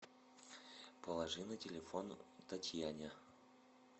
положи на телефон татьяне